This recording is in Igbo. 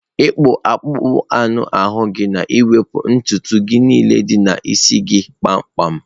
ịkpụ akpụkpọ anụ ahu na-ewepụ ntutu gị niile dị n'isi gị kpamkpam.